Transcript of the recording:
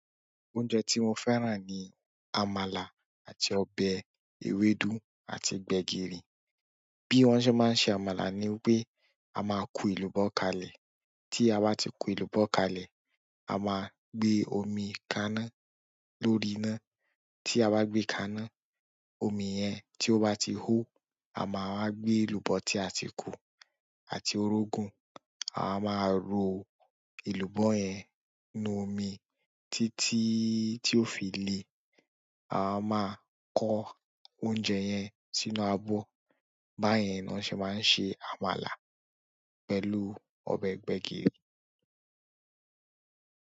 Oúnjẹ tí mò fẹ́ràn ni àmàlà àti ọbẹ̀ ewédú àti gbẹ̀gìrì. Bí wọ́n ṣé máa ń ṣè àmàlà ni pé a máa kùù èlùbọ́ kàlẹ̀. Tí a bá ti ku èlùbọ́ kalẹ̀, a máa gbé omi kaná lórí iná. Tí à bá gbé kàná òmi yẹn tí ó bá ti òó, à máà wà gbé èlùbọ́ tí à ti kù àti òrógùn, à máà rò èlùbọ́ yẹn inú òmi títí tí ó fi lè. À máà kọ òúnjẹ yẹn sínú àbọ́. Báyìí ni wọ́n ṣé máa ń ṣè àmàlà pẹ̀lú ọbẹ̀ gbẹ̀gìrì.